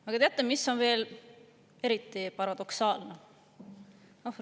Aga teate, mis on veel eriti paradoksaalne?